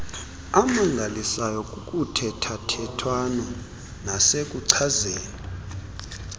amangalisayo kuthethathethwano nasekuchazeni